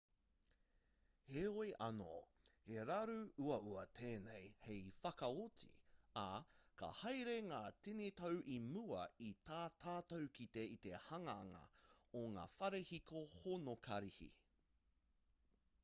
heoi anō he raru uaua tēnei hei whakaoti ā ka haere ngā tini tau i mua i tā tātou kite i te hanganga o ngā whare hiko honokarihi